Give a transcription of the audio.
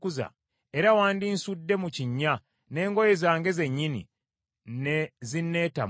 era wandinsudde mu kinnya, n’engoye zange zennyini ne zinneetamwa.